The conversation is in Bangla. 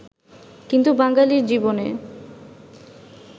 কিন্তু বাঙালির জীবনে